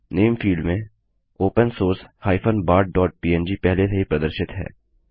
name field में open source bartpng पहले से ही प्रदर्शित है